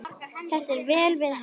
Þetta á vel við hann.